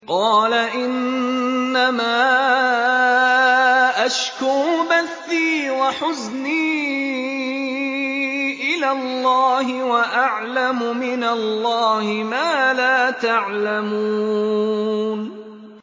قَالَ إِنَّمَا أَشْكُو بَثِّي وَحُزْنِي إِلَى اللَّهِ وَأَعْلَمُ مِنَ اللَّهِ مَا لَا تَعْلَمُونَ